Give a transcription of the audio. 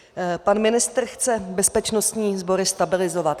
Pan ministr chce bezpečnostní sbory stabilizovat.